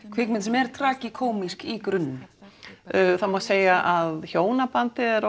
kvikmynd sem er tragikómísk í grunninn það má segja að hjónabandið er